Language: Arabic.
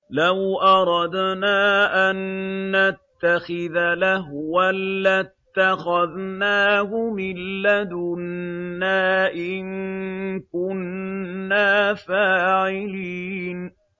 لَوْ أَرَدْنَا أَن نَّتَّخِذَ لَهْوًا لَّاتَّخَذْنَاهُ مِن لَّدُنَّا إِن كُنَّا فَاعِلِينَ